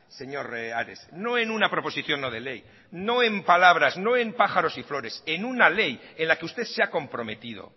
señor ares no en una proposición no de ley no en palabras no en pájaros y flores en una ley en la que usted se ha comprometido